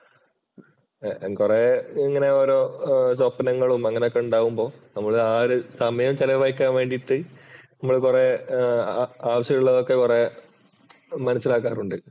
ഏർ കൊറേ ഇങ്ങനെ ഓരോ സ്വപ്നങ്ങളും അങ്ങനെയൊക്കെ ഉണ്ടാകുമ്പോൾ നമ്മള് ആ ഒരു സമയം ചെലവഴിക്കാൻ വേണ്ടിയിട്ട് നമ്മൾ കുറെ ആവശ്യമുള്ളതൊക്കെ കൊറെ മനസ്സിലാക്കാറുണ്ട്.